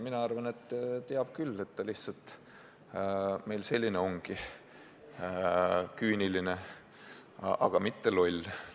Mina arvan, et teab küll, ta lihtsalt ongi meil selline – küüniline, aga mitte loll.